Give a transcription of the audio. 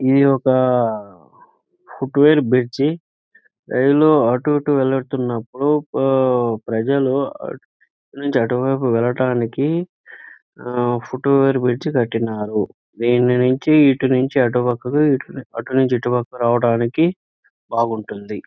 ఇది ఒక foot over bridge . Rail అంటూ ఇటు వెళ్తున్నపుడు ప్రజలు ఇటు నుచి అటువైపు వెళ్ళడానికి అహ్హ్ ఫుట్ వేర్ బ్రిడ్జి కట్టినారు. దీన్ని నుంచి ఇటు నుంచి అటు పక్కకి అటు నుంచి ఇటు పక్కకి రావడానికి బాగుంటుంది.